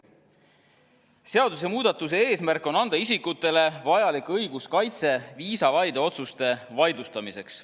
Seadusemuudatuse eesmärk on anda isikutele vajalik õiguskaitse viisavaide otsuste vaidlustamiseks.